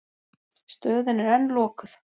Stöðin er enn lokuð.